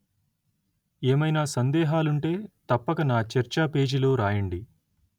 ఏమయినా సందేహాలుంటే తప్పక నా చర్చాపేజీలో రాయండి